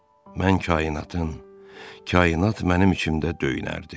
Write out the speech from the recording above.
Mən kainatın, kainat mənim içimdə döyünərdi.